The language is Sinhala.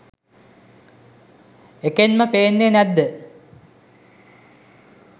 එකෙන්ම පෙන්නේ නැත්ද